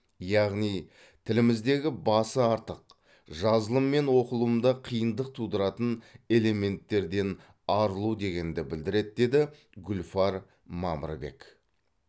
яғни тіліміздегі басы артық жазылым мен оқылымда қиындық тудыратын элементтерден арылу дегенді білдіреді деді гүлфар мамырбек